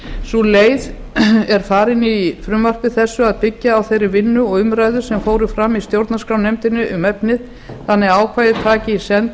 sú leið er farin í frumvarpi þessu að byggja á þeirri vinnu og þeim umræðum sem fram fóru í stjórnarskrárnefnd um efnið þannig að ákvæðið taki í senn